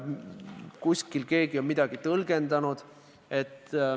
Kuskil on keegi midagi tõlgendanud.